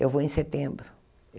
Eu vou em setembro.